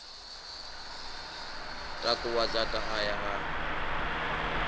takuwa dzaṱa a ya a